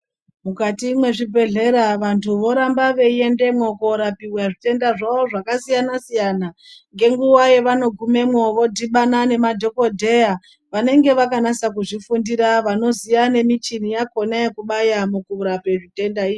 Mukati mwezvibhedhlera antu voramba veiendemwo korapiwa zvitenda zvawo zvakasiyana siyana ngenguva yavanogumwemo vodhibana nemamadhokodheya vanenge vakanasa kuzvifundira vanoziya nemuchini yachona yekubaya mukurapa zvitenda izvi.